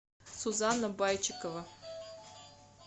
сузанна байчикова